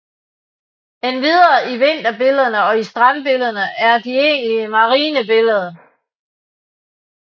Endvidere i vinterbillederne og i strandbillederne og de egentlige marinebilleder